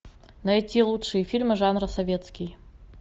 найти лучшие фильмы жанра советский